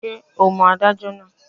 Ṣé o mọ adájọ́ náà?